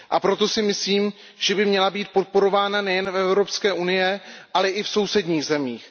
Proto si myslím, že by měla být podporována nejen v Evropské unii, ale i v sousedních zemích.